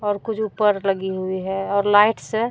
और कुछ ऊपर लगी हुई है और लाइट्स है।